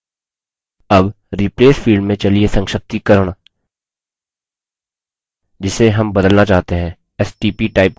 अब replace field में चलिए संक्षिप्तीकरण जिसे हम बदलना चाहते हैं stp type करते हैं